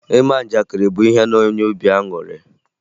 Ịma njakịrị bụ ihe na-enye obi aṅụrụ